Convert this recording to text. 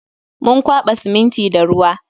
Mun kwaba siminti da ruwa